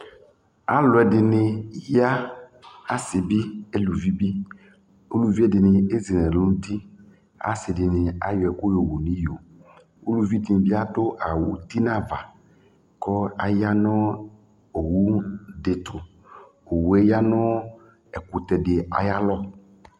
Alʋ ɛdɩnɩ ya, asɩ bɩ, eluvi bɩ Uluvi ɛdɩnɩ ezi nʋ ɛlʋ dʋ nʋ uti Asɩ dɩnɩ ayɔ ɛkʋ yɔwu nʋ iyo Uluvi dɩnɩ bɩ adʋ awʋ uti nʋ ava kʋ aya nʋ owu dɩ tʋ Owu yɛ ya nʋ ɛkʋtɛ dɩ ayalɔ